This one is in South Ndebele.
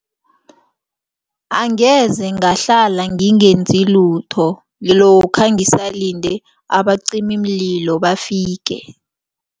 Angeze ngahlala ngingenza lutho lokha ngisalinde abacimimlilo bafike.